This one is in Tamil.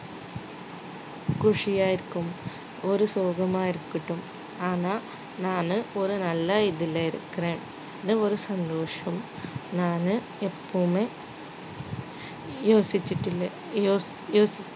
குஷியா இருக்கும் ஒரு சோகமா இருக்கட்டும் ஆனா நானு ஒரு நல்ல இதுல இருக்குறேன் இது ஒரு சந்தோஷம் நானு எப்பவுமே யோசிச்சுட்டு இல்லை